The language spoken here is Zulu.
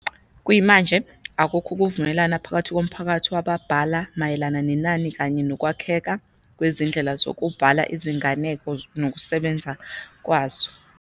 Kuyimanje, akukho ukuvumelana phakathi komphakathi wababhala mayelana nenani kanye nokwakheka kwezindlela zokubhala izinganeko nokusebenza kwazo.